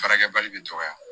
Baarakɛ bali bɛ dɔgɔya